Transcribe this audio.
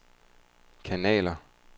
kanaler